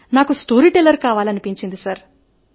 అయితే నాకు storyteller కావాలని ఉంది